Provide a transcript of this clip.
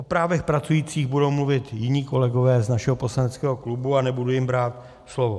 O právech pracujících budou mluvit jiní kolegové z našeho poslaneckého klubu a nebudu jim brát slovo.